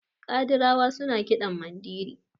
kadirawa suna kiɗa Mandiri